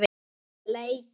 Vel leikið.